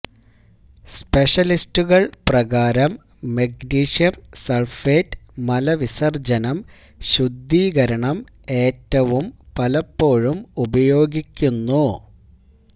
സ്പെഷ്യലിസ്റ്റുകൾ പ്രകാരം മഗ്നീഷ്യം സൾഫേറ്റ് മലവിസർജ്ജനം ശുദ്ധീകരണം ഏറ്റവും പലപ്പോഴും ഉപയോഗിക്കുന്നു